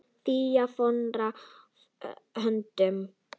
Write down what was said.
Fía fórnaði höndum.